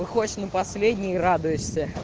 выходишь на последней радуйся